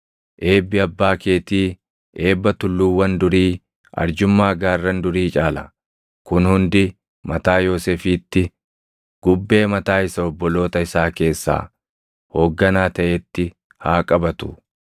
Eebbi abbaa keetii, eebba tulluuwwan durii, arjummaa gaarran durii caala. Kun hundi mataa Yoosefiitti, gubbee mataa isa obboloota isaa keessaa // hoogganaa taʼeetti haa qabatu.